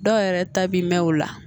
Dɔw yɛrɛ ta bi mɛn o la